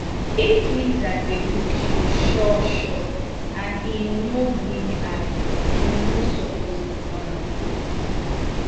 if lizard dey look you sure sure and e no blink eye you no suppose ignore am